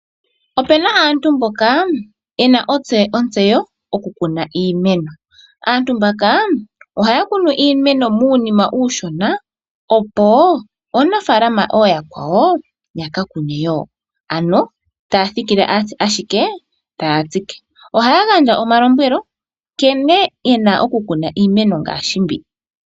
Ope na aantu mboka ye na ontseyo okukuna iimeno. Aantu mbaka ohaya kunu iimeno muunima uushona, opo aanafalama ooyakwawo ya ka kune wo. Ano ta thikile ashike taya tsike. Ohaya gandja omalombwelo nkene e na okukuna iimeno ngaashi mbi.